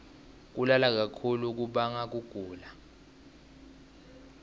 kulala kakhulu kubanga kugula